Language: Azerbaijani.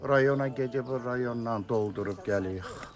Rayona gedib rayondan doldurub gəlirik.